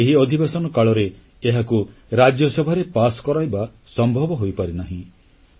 ଯଦ୍ୟପି ଏହି ଅଧିବେଶନ କାଳରେ ଏହାକୁ ରାଜ୍ୟସଭାରେ ପାସ୍ କରାଇବା ସମ୍ଭବ ହୋଇପାରିନାହିଁ